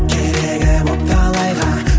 керегі боп талайға